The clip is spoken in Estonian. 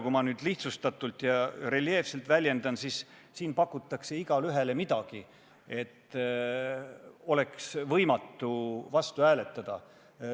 Kui ma nüüd lihtsustatult ja reljeefselt väljendun, siis võib öelda, et siin pakutakse igaühele midagi, et oleks võimatu vastu hääletada.